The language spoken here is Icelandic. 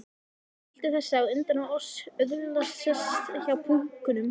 Skyldi þessi á undan oss öðlast sess hjá púkunum?